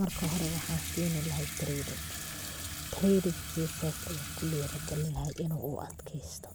marka hore waxan sini lahaa training. treyninkiisas ayan kudhiiri gelin lahaa inu u adjeysto,